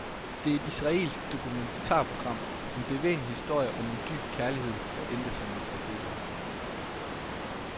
Det er et israelsk dokumentarprogram, en bevægende historie om en dyb kærlighed, der endte som en tragedie.